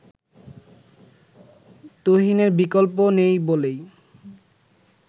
তুহিনের বিকল্প নেই বলেই